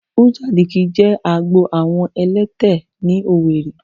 Uzuakoli jè àágbó awọn ẹ̀lẹ̀tẹ̀ ni Owerri